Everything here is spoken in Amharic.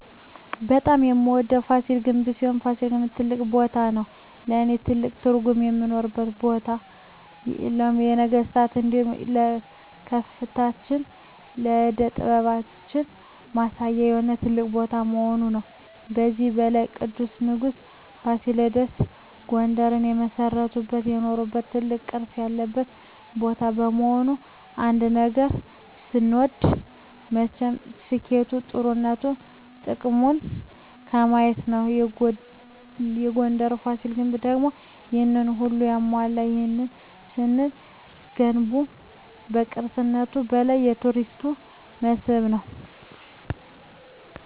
በጣም የምወደዉ ፋሲል ግንብ ሲሆን ፋሲል ግን ትልቅ ቦታም ነዉ ለእኔ ትልቅ ትርጉም የኖረባት ቦታ የኢትጵያን የነገስታት እንዲሁም የከፍታችን የእደ ጥበባችን ማሳያ የሆነ ትልቅ ቦታ በመሆኑ ነዉ። ከዚህም በላይ ቅዱሱ ንጉስ ፋሲለደስ ጉንደርን የመሰረተበት የኖረበት ትልቅ ቅርስ ያለበት ቦታ በመሆኑ ነዉ። አንድ ነገር ስንወድ መቸም ስኬቱ ጥሩነቱ ጥቅሙን በማየት ነዉ የጉንደሩ ፋሲል ግንብ ደግሞ ይሄንን ሁሉ ያሟላል ይህንንም ስንል ገንቡ ከቅርስነቱም በላይ የቱሪስት መስህብ ነዉ።